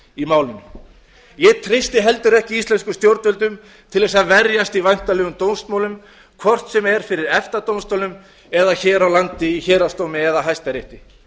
í málinu ég treysti heldur ekki íslenskum stjórnvöldum til þess að verjast í væntanlegum dómsmálum hvort sem er fyrir efta dómstólnum eða hér á landi í héraðsdómi eða hæstarétti